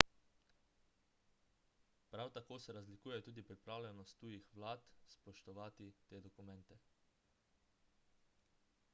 prav tako se razlikuje tudi pripravljenost tujih vlad spoštovati te dokumente